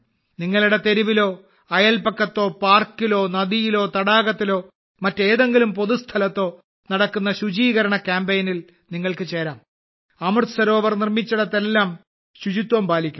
നിങ്ങളുടെ തെരുവിലോ അയൽപക്കത്തോ പാർക്കിലോ നദിയിലോ തടാകത്തിലോ മറ്റേതെങ്കിലും പൊതുസ്ഥലത്തോ നടക്കുന്ന ശുചീകരണ കാമ്പയിനിൽ നിങ്ങൾക്ക്ചേരാം അമൃത് സരോവർ നിർമ്മിച്ചിടത്തെല്ലാം ശുചിത്വം പാലിക്കണം